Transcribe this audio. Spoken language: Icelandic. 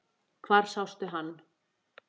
Hvar sástu hann?